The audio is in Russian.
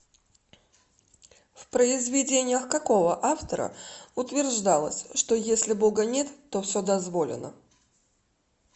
в произведениях какого автора утверждалось что если бога нет то все дозволено